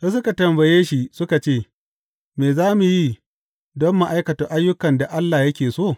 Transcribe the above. Sai suka tambaye shi suka ce, Me za mu yi don mu aikata ayyukan da Allah yake so?